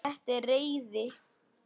Þetta er reiði.